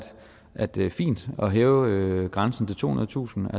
at det er fint at hæve grænsen til tohundredetusind